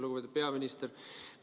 Lugupeetud peaminister!